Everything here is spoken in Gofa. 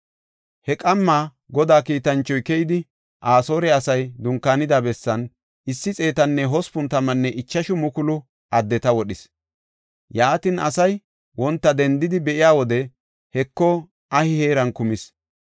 He qamma Godaa kiitanchoy keyidi, Asoore asay dunkaanida bessan issi xeetanne hospun tammanne ichashu mukulu addeta wodhis. Yaatin asay wonta dendidi be7iya wode, Heko, ahi heeran kumis.